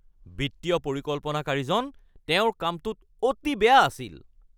বিত্তীয় পৰিকল্পনাকাৰীজন তেওঁৰ কামটোত অতি বেয়া আছিল